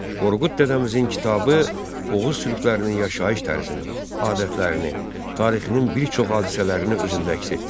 Qorqud Dədəmizin kitabı Oğuz türklərinin yaşayış tərzini, adətlərini, tarixinin bir çox hadisələrini özündə əks etdirir.